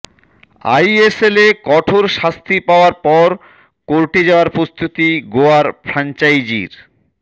আইএসএলে কঠোর শাস্তির পাওয়ার পর কোর্টে যাওয়ার প্রস্তুতি গোয়ার ফ্রাঞ্চাইজির